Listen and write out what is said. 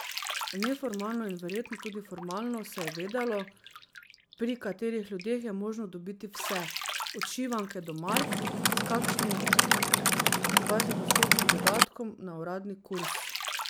Neformalno in verjetno tudi formalno se je vedelo, pri katerih ljudeh je možno dobiti vse, od šivanke do mark s kakšnim dvajsetodstotnim dodatkom na uradni kurs.